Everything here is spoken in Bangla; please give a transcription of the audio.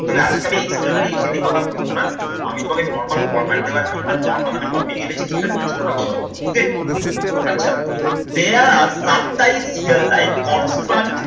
তবে আজকে আমি expository essay নিয়ে কথা বলবো না আমি তোমাকে normal format দেওয়ার জন্য একটা normal আমি topic এনেছি সেটা নিয়ে আজকে আমরা কথা বলবো okay আচ্ছা, there are there life on towards